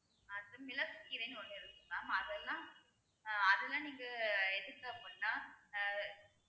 அடுத்து மிளகுக்கீரைன்னு ஒண்ணு இருக்குங்க mam அதெல்லாம் ஆஹ் அதெல்லாம் நீங்க எதுக்கு அப்படின்னா அஹ்